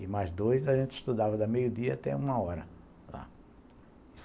E mais dois, a gente estudava da meio-dia até uma hora lá.